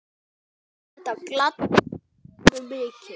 Þetta gladdi Svönu mikið.